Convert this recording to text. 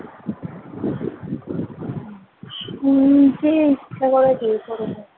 নিজেই ইচ্ছে করে দিয়েছে বোধ হয় ।